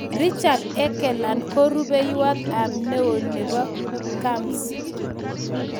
Richard Engelen ko rubeywot ab ne oo nebo CAMS